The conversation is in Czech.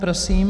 Prosím.